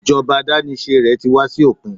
ijoba adanise rẹ ti wá sí òpin